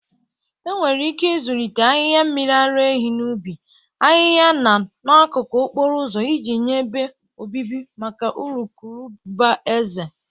Enwere ike ịzụlite ahihia mmiri ara ehi n'ubi, ahịhịa na n'akụkụ okporo ụzọ iji nye ebe obibi maka urukurubụba eze.